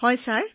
হয় ছাৰ